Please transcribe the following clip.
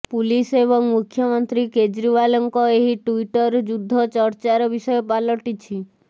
police ଏବଂ ମୁଖ୍ୟମନ୍ତ୍ରୀ କେଜ୍ରିୱାଲଙ୍କ ଏହି ଟ୍ବିଟର୍ ଯୁଦ୍ଧ ଚର୍ଚ୍ଚାର ବିଷୟ ପାଲଟିଛି